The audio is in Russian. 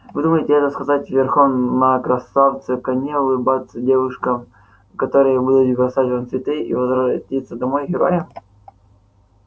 вы думаете это сказать верхом на красавце коне улыбаться девушкам которые будут бросать вам цветы и возвратиться домой героем